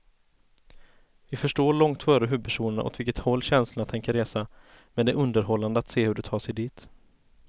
Vi förstår långt före huvudpersonerna åt vilket håll känslorna tänker resa, men det är underhållande att se hur de tar sig dit.